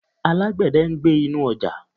Alágbẹ̀dẹ̀ ń gbẹ́ inú ọjà.